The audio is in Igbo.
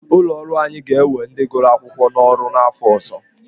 Ụlọ ọrụ anyị ga-ewe ndị gụrụ akwụkwọ n'ọrụ n'afọ ọzọ.